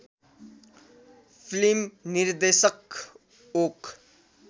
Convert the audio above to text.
film निर्देशक okay